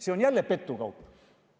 See on jälle petukaup.